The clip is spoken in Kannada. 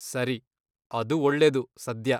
ಸರಿ, ಅದು ಒಳ್ಳೇದು ಸದ್ಯ.